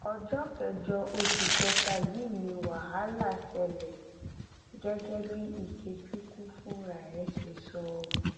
ọjọ kẹjọ oṣù kẹta yìí ni wàhálà ṣẹlẹ gẹgẹ bí ikechukwu fúnra ẹ ṣe sọ